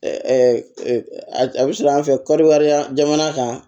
A bɛ sɔrɔ an fɛ kɔɔriya jamana kan